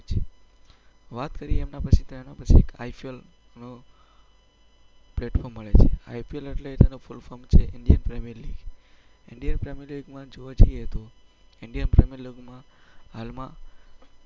વાત કરીએ એના પછી, તો એના પછી એક IPL અમ પ્લેટફોર્મ મળે છે. IPL એટલે તેનું ફુલફોર્મ છે Indian Premier League. Indian Premier લીગમાં જોવા જઈએ તો ઈન્ડિયન પ્રીમિયર લીગમાં હાલમાં